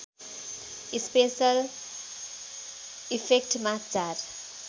special इफेक्टमा चार